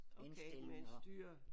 Okay med et styr